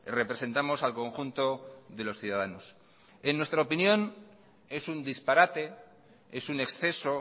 representamos al conjunto de los ciudadanos en nuestra opinión es un disparate es un exceso